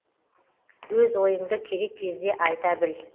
өз ойыңды керек кезде айта біл